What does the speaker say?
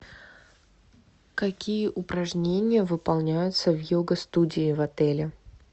какие упражнения выполняются в йога студии в отеле